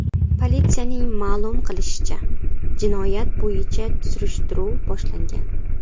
Politsiyaning ma’lum qilishicha, jinoyat bo‘yicha surishtiruv boshlangan.